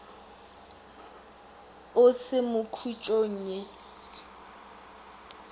o se mo khutšong ye